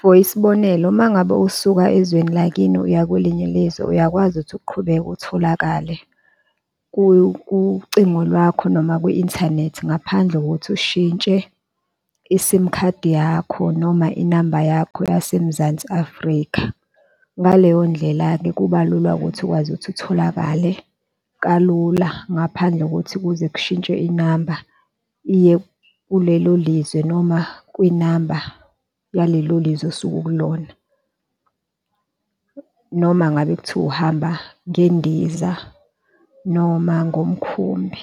for isibonelo, uma ngabe usuka ezweni lakini uya kwelinye ilizwe uyakwazi ukuthi uqhubeke utholakale kucingo lwakho noma kwi-inthanethi, ngaphandle kokuthi ushintshe i-sim khadi yakho, noma inamba yakho yaseMzansi Afrika. Ngaleyo ndlela-ke kuba lula ukuthi ukwazi ukuthi atholakale kalula, ngaphandle kokuthi kuze kushintshwe inamba iye kulelo lizwe noma kwinamba yalelo lizwe osuke ukulona, noma ngabe kuthiwa uhamba ngendiza noma ngomkhumbi.